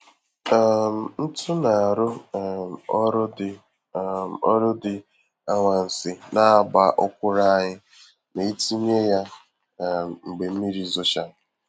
um Ntu na-arụ um ọrụ dị um ọrụ dị ka anwansi n'àgbà ọkwụrụ anyị ma-etinye ya um mgbe mmiri zochara.